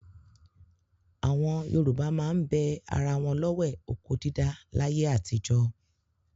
Àwọn Yorùbá máa ń bẹ ara wọn lọ́wẹ̀ oko dídá láyé àtijọ́.